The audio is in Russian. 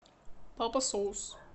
папа соус